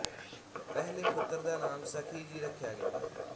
ਪਹਿਲੇ ਪੁੱਤਰ ਦਾ ਨਾਮ ਸਖੀ ਜੀ ਰੱਖਿਆ ਗਿਆ